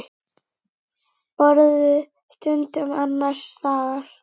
Borðuðu stundum annars staðar.